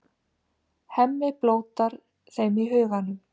Hemmi blótar þeim í huganum.